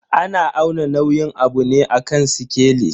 Ana auna nauyin abu ne a kan sikeli.